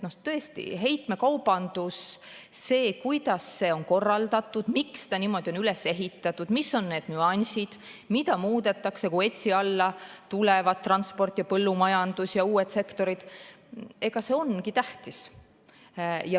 Tõesti, heitmekaubandus, see, kuidas see on korraldatud, miks see niimoodi on üles ehitatud, mis on need nüansid, mida muudetakse, kui ETS‑i alla tulevad transport, põllumajandus ja uued sektorid, ongi tähtis.